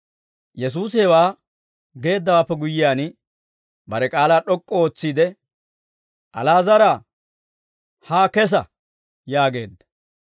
Yesuusi hewaa geeddawaappe guyyiyaan, bare k'aalaa d'ok'k'u ootsiide, «Ali'aazaraa, haa kessa!» yaageedda.